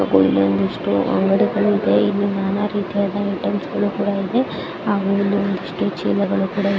ಕೆಲವೊಂದಿಷ್ಟು ಅಂಗಡಿಗಳು ಇದೆ ಇಲಿ ನಾನಾ ರೀತ್ಯಾದ ಐಟೆಮ್ಸ ಗಳು ಕೂಡ ಆ ಇದೆ ಹಾಗೆ ಅಲ್ಲಿ ಒಂದಿಷ್ಟು ಚೀಲಗಳು ಕೂಡ ಇದೆ.